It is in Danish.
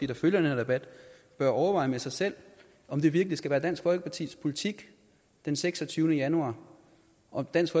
der følger den her debat bør overveje med sig selv om det virkelig skal være dansk folkepartis politik den seksogtyvende januar og dansk